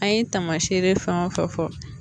An ye taamaseere fɛn o fɛn fɔ